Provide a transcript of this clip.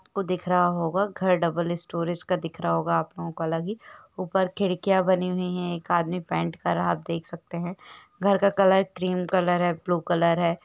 आपको दिख रहा होगा घर डबल स्टोरेज का दिख रहा होगा आपलोगों को अलग ही ऊपर खिड़कियाँ बनी हुई हैं एक आदमी पैंट कर रहा आप देख सकते हैं। घर का कलर क्रीम कलर है ब्लू कलर है।